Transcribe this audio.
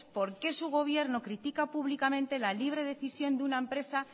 por qué su gobierno critica públicamente la libre decisión de una empresa